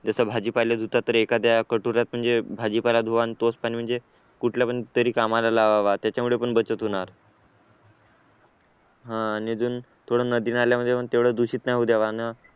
जसं भाजीपाला धुतात तर एखाद्या कटोऱ्यात म्हणजे भाजीपाला धुवा तोच पाणी म्हणजे कुठल्या पण तरी कामाला लावावे त्याच्यामुळे पण बचत होणार आणि अजून थोडा नदी नाल्यांमध्ये पण थोडं दूषित नाही हो द्यावं